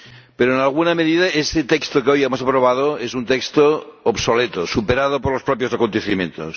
Pero, en alguna medida, este texto ―que hoy hemos aprobado― es un texto obsoleto, superado por los propios acontecimientos